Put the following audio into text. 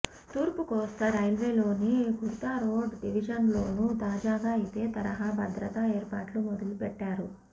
తూర్పు కోస్తా రైల్వేలోని ఖుర్దారోడ్ డివిజన్లోనూ తాజాగా ఇదే తరహా భద్రతా ఏర్పాట్లు మొదలుపెట్టారు